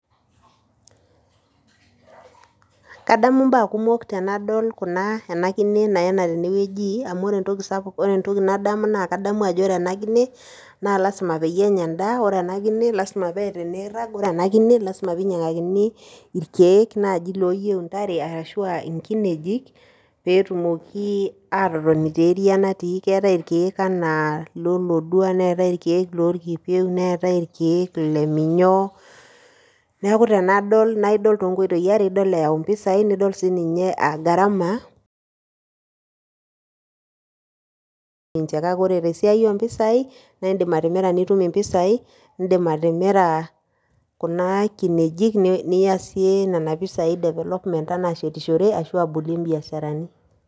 Kadamu imbaa kumok tenadol kuna, ena kine naena tene wueji , amu ore entoki nadamu naa ore ena kine naa lasima peyie enya endaa , ore ena kine lasima peeta eniirag , ore ena kine lasima pee ingurakini irkiek laji loyieu intare , ashu inkinejik peetumoki atotoni te area natii , keetae irkiek anaa iloloduo, neetae irkieek lorkipieu, neetae irkiek le minyoo. Niaku tenidol naa idol too nkoitoi are, idol eyau impisai, nidol sininye garama teninche , kake ore te siai ompisai indim atimira nitum impisai , indim atimira kuna kinejik , niya siiyie nena pisai development anaa ashetishore ashu abolie imbiasharani.